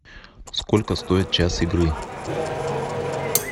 сколько стоит час игры